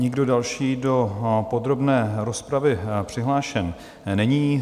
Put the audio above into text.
Nikdo další do podrobné rozpravy přihlášen není.